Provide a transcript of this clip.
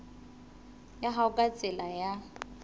ya hao ka tsela ya